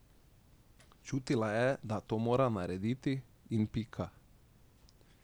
Čutila je, da to mora narediti, in pika.